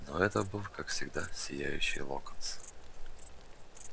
но это был как всегда сияющий локонс